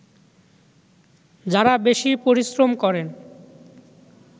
যাঁরা বেশি পরিশ্রম করেন